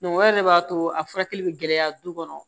o de b'a to a furakɛli bɛ gɛlɛya du kɔnɔ